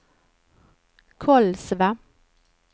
Kolsva